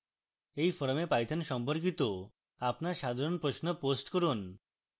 এই forum python সম্পর্কিত আপনার সাধারণ প্রশ্ন post করুন